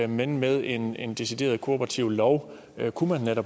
men med en en decideret kooperativ lov kunne man